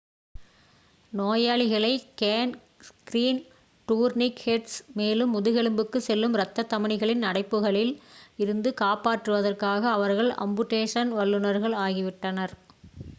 நோயாளிகளை gangrene tourniquets மேலும் முதுகெலும்புக்கு செல்லும் ரத்த தமனிகளின் அடைப்புகளில் இருந்து காப்பாற்றுவதற்காக அவர்கள் அம்புடேஷன் வல்லுனர்கள் ஆகிவிட்டனர்